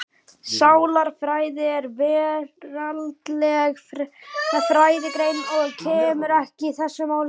Sálarfræði er veraldleg fræðigrein og kemur ekki þessu máli við.